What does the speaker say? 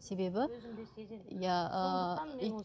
себебі иә